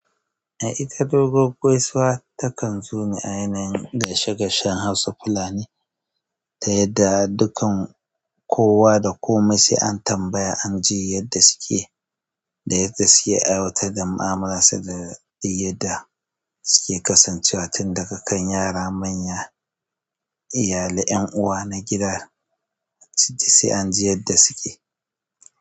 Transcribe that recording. A ita doguwan gaisuwa takan zone a yanayin gaishe gaishen Hausa fulani da yadda dukan kowa da komai sai an tambaya an ji yadda suke da yadda suke aiwatar da mu'amalar su da yadda suke kasancewa tun daga kan yara manya, iyalai, ƴan uwa na gida, sai an ji yadda suke.